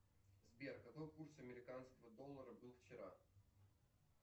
сбер какой курс американского доллара был вчера